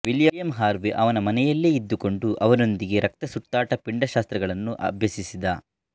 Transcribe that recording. William Harvey ಅವನ ಮನೆಯಲ್ಲೇ ಇದ್ದುಕೊಂಡು ಅವನೊಂದಿಗೆ ರಕ್ತ ಸುತ್ತಾಟ ಪಿಂಡಶಾಸ್ತ್ರಗಳನ್ನು ಅಭ್ಯಸಿಸಿದ